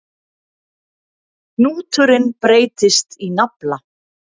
Hnúturinn breytist í nafla.